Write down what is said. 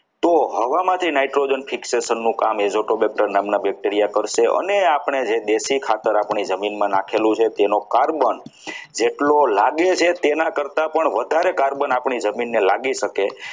તો હવા માંથી nitrogen fixation નું કામના bacteria કરશે અને આપણે દેશી ખાતર આપણી જમીનમાં નાખેલું છે તેનું carbon જેટલો લાગે છે તેના કરતાં પણ વધારે carbon આપણી જમીનને લાગી શકે.